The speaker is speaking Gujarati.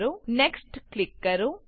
નેક્સ્ટ નેક્સ્ટ ક્લિક કરો